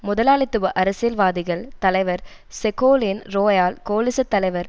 முதலாளித்துவ அரசியல் வாதிகள் தலைவர் செகோலீன் ரோயால் கோலிச தலைவர்